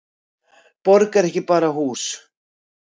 Borg er ekki bara hús.